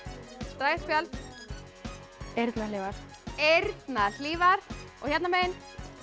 draga eitt spjald eyrnahlífar eyrnahlífar og hérna megin